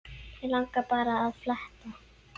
Mig langaði bara að fletta